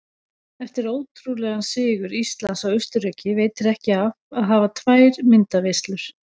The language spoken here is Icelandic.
Eftir ótrúlegan sigur Íslands á Austurríki veitir ekki af að hafa tvær myndaveislur.